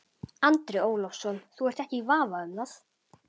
Andri Ólafsson: Þú ert ekki í vafa um það?